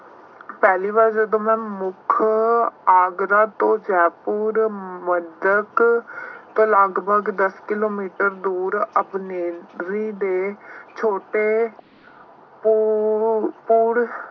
ਪਹਿਲੀ ਵਾਰ ਜਦੋਂ ਮੈਂ ਮੁੱਖ ਆਗਰਾ ਤੋਂ ਜੈਪੁਰ ਤੋਂ ਲਗਭਗ ਦੱਸ ਕਿਲੋਮੀਟਰ ਦੂਰ ਆਪਣੇ ਦੇ ਛੋਟੇ